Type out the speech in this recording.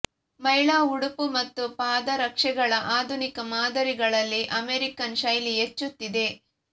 ಮಹಿಳಾ ಉಡುಪು ಮತ್ತು ಪಾದರಕ್ಷೆಗಳ ಆಧುನಿಕ ಮಾದರಿಗಳಲ್ಲಿ ಅಮೆರಿಕನ್ ಶೈಲಿ ಹೆಚ್ಚುತ್ತಿದೆ